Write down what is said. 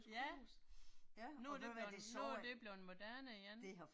Ja. Nu er det blevet, nu er det blevet moderne igen